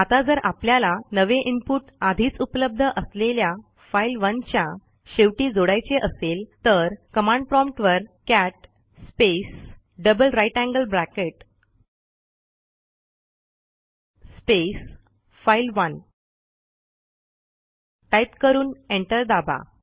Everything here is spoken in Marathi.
आता जर आपल्याला नवे इनपुट आधीच उपलब्ध असलेल्या file1च्या शेवटी जोडायचे असेल तर कमांड प्रॉम्प्ट वर cat space double greater than sign space file one type करून एंटर दाबा